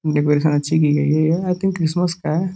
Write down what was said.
decoration अच्छी की गयी है आई थिंक क्रिसमस का